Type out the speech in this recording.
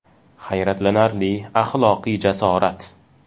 Hayratlanarli axloqiy jasorat!